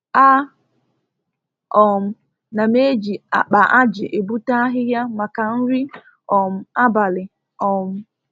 A um na m ejl akpa aji ebute ahịhịa maka nri um abalị um